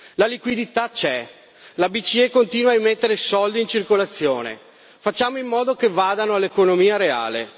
La liquidità c'è la Bce continua mettere soldi in circolazione. Facciamo in modo che vadano all'economia reale.